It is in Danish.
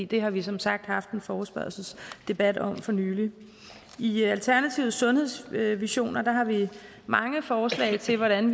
det har vi som sagt haft en forespørgselsdebat om for nylig i alternativets sundhedsvisioner har vi mange forslag til hvordan